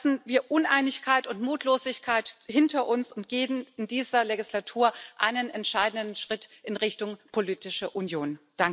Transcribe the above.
Lassen wir Uneinigkeit und Mutlosigkeit hinter uns und gehen wir in dieser Wahlperiode einen entscheidenden Schritt in Richtung politische Union!